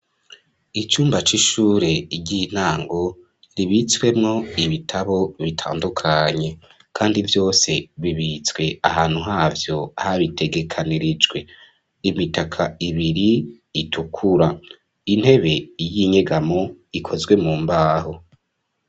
Ishure ry'intango, ribitswemwo ibitabo bitandukanye, kandi vyose bibitswe ahantu havyo habitegekanirijwe, imitaka ibiri itukura, intebe y'inyegamo ikozwe mumbaho.